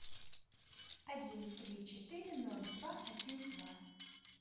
один три четыре ноль два один два